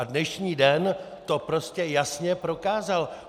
A dnešní den to prostě jasně prokázal.